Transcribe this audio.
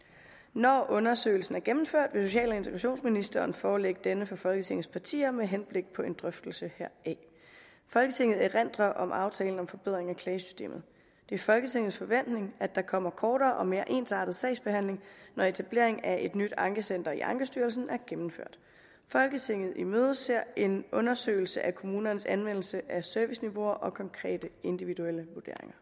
når undersøgelsen er gennemført vil social og integrationsministeren forelægge denne for folketingets partier med henblik på drøftelse heraf folketinget erindrer om aftalen om forbedring af klagesystemet det er folketingets forventning at der kommer kortere og mere ensartet sagsbehandling når etablering af et nyt ankecenter i ankestyrelsen er gennemført folketinget imødeser en undersøgelse af kommunernes anvendelse af serviceniveauer og konkrete individuelle